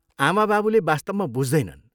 आमाबाबुले वास्तवमा बुझ्दैनन्।